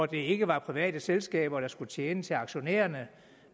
det ikke var private selskaber der skulle tjene til aktionærerne